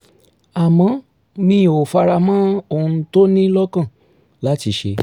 àmọ́ mi ò fara mọ́ ohun tó ní lọ́kàn láti ṣe